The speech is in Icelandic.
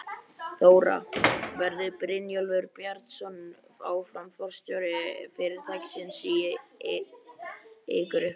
Þóra: Verður Brynjólfur Bjarnason áfram forstjóri fyrirtækisins í ykkar eigu?